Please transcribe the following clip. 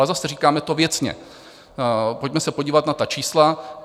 Ale zase, říkáme to věcně: pojďme se podívat na ta čísla.